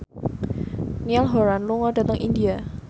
Niall Horran lunga dhateng India